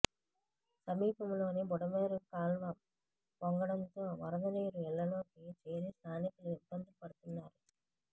సమీపంలోని బుడమేరు కాల్వ పొంగడంతో వరదనీరు ఇళ్లలోకి చేరి స్థానికులు ఇబ్బందులు పడుతున్నారు